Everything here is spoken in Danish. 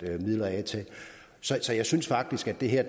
midler af til så jeg synes faktisk at det her